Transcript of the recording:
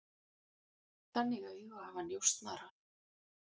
Þannig augu hafa njósnarar.